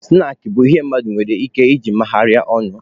Snaakị bụ ihe mmadụ nwere ike iji megharịa ọnụ.